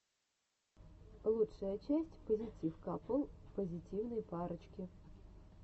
лучшая часть позитив капл позитивной парочки